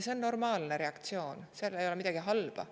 See on normaalne reaktsioon, selles ei ole midagi halba.